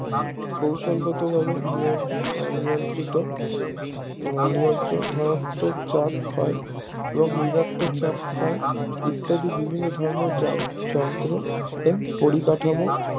কৌশল গত ভাবে নিয়ন্ত্রিত নিয়ন্ত্রণ ধনাত্মক চাপ ক্ষয় এবং বৃদ্ধাক্তক চাপ ক্ষয় ইত্যাদি বিভিন্ন ধর্মের যন্ত্র পরিকাঠামোর